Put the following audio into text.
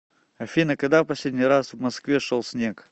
афина когда в последний раз в москве шел снег